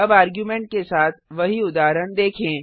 अब आर्गुमेंट के साथ वही उदाहरण देखें